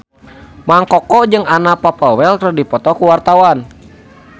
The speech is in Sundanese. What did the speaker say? Mang Koko jeung Anna Popplewell keur dipoto ku wartawan